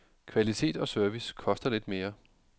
Kvalitet og service koster lidt mere.